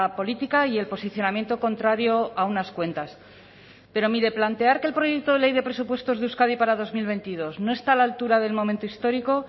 política y el posicionamiento contrario a unas cuentas pero mire plantear que el proyecto de ley de presupuestos de euskadi para dos mil veintidós no está a la altura del momento histórico